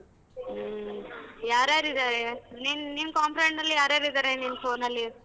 ಹ್ಮ್. ಯಾರ್ ಯಾರ್ ಇದಾರೆ ನಿನ್ ನಿನ್ ಲಿ ಯಾರ್ ಯಾರ್ ಇದಾರೆ ನಿನ್ phone ಅಲ್ಲಿ?